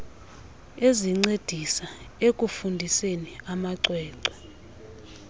ezincedisa ekufundiseni amacwecwe